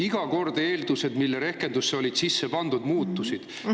Iga kord need eeldused, mis rehkendusse olid sisse pandud, muutusid.